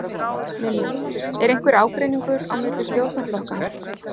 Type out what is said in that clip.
Lillý: Er einhver ágreiningur á milli stjórnarflokkanna?